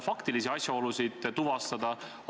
Sellisel asjal ei tohiks lasta juhtuda.